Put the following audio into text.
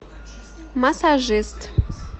массажист